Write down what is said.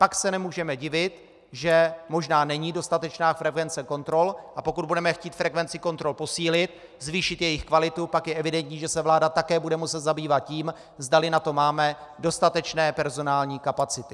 Pak se nemůžeme divit, že možná není dostatečná frekvence kontrol, a pokud budeme chtít frekvenci kontrol posílit, zvýšit jejich kvalitu, pak je evidentní, že se vláda také bude muset zabývat tím, zdali na to máme dostatečné personální kapacity.